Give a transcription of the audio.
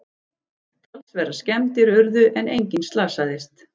Talsverðar skemmdir urðu en enginn slasaðist